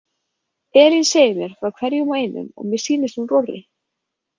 Elín segir mér frá hverjum og einum og mér sýnist hún rórri.